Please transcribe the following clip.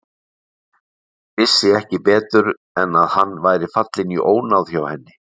Vissi ekki betur en að hann væri fallinn í ónáð hjá henni.